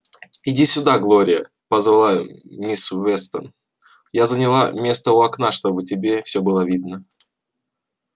иди сюда глория позвала мисс вестон я заняла место у окна чтобы тебе всё было видно